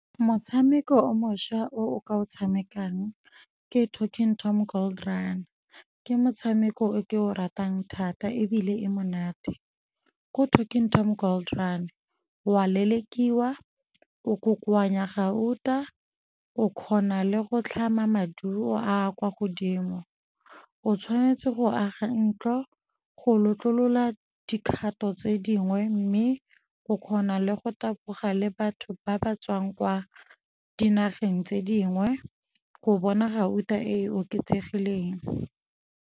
Motshameko o mošwa o o ka o tshamekang ke Talking Tom Gold Run, ke motshameko o ke o ratang thata ebile e monate. Ko Talking Tom Gold Run wa lelekiwa, o kokoanya gauta, o kgona le go tlhama maduo a kwa godimo. O tshwanetse go aga ntlo go lotlolola dikgato tse dingwe mme o kgona le go taboga le batho ba ba tswang kwa dinageng tse dingwe go bona gauta e e oketsegileng.